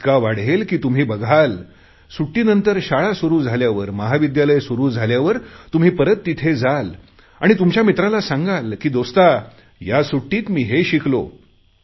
इतका वाढेल की तुम्ही बघाल सुट्टीनंतर शाळा सुरु झाल्यानंतर महाविद्यालय सुरु झाल्यावर तुम्ही परत तिथे जाल आणि तुमच्या मित्राला सांगेल की दोस्ता या सुट्टीत मी हे शिकलो